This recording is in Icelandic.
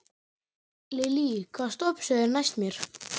Lillý, hvaða stoppistöð er næst mér?